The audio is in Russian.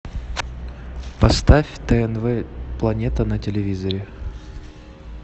поставь тнв планета на телевизоре